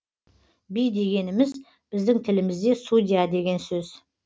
би дегеніміз біздің тілімізде судья деген сөз